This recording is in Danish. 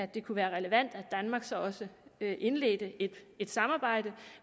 det kunne være relevant at danmark så også indledte et samarbejde